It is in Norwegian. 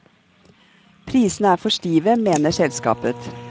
Prisene er for stive, mener selskapet.